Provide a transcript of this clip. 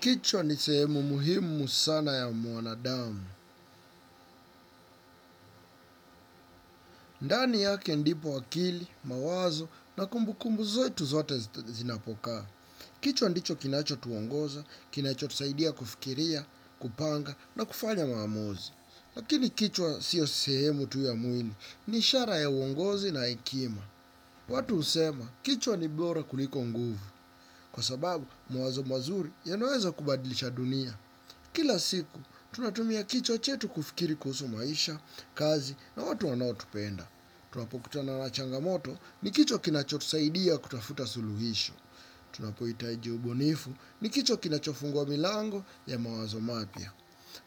Kichwa ni sehemu muhimu sana ya mwanadamu. Ndani yake ndipo akili, mawazo na kumbukumbu zote zote zinapokaa. Kichwa ndicho kinacho tuongoza, kinacho tusaidia kufikiria, kupanga na kufanya maamuzi. Lakini kichwa siyo sehemu tu ya mwili, ni ishara ya uongozi na hekima. Watu husema, kichwa ni bora kuliko nguvu. Kwa sababu mawazo mazuri yanaweza kubadilisha dunia. Kila siku, tunatumia kichwa chetu kufikiri kuhusu maisha, kazi na watu wanao tupenda. Tunapo kutana na changamoto ni kichwa kinacho tusaidia kutafuta suluhisho. Tunapo hitaji ubunifu ni kichwa kinachofunguwa milango ya mawazo mapya.